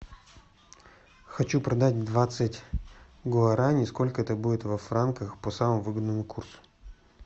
хочу продать двадцать гуараней сколько это будет во франках по самому выгодному курсу